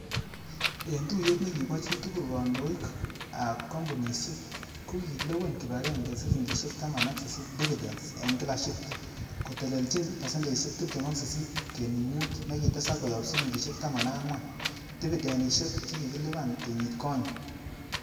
En tuyet nekibo chitugul, kondoik am kompunisiek kokilewen kipagenge silingisiek taman ak sisit dividens en kila sheat, kotelelchin pasendeisiek tibtem ak sisit kenuch mut nekitesak koyob silingisiek taman ak angwan dividinisiek che kikilipan kenyit konye.